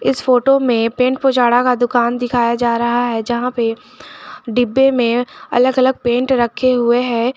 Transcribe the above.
इस फोटो में पेंट पूजाड़ा का दुकान दिखाया जा रहा है जहां पे डिब्बे में अलग अलग पेंट रखे हुए है।